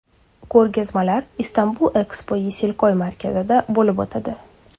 Ko‘rgazmalar Istanbul Expo Yesilkoy markazida bo‘lib o‘tadi.